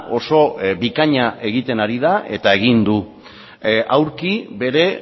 oso bikaina egiten ari da eta egin du aurki bere